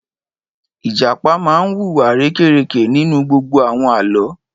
Ìjàpá máa wu wa arérekè nínú gbogbo àwọn Àlọ́.